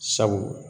Sabu